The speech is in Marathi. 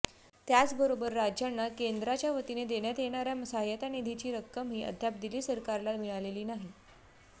त्याचबरोबर राज्यांना केंद्राच्यावतीने देण्यात येणाऱ्या सहाय्यता निधीची रक्कमही अद्याप दिल्ली सरकारला मिळालेली नाही